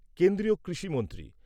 কেন্দ্রীয় কৃষিমন্ত্রী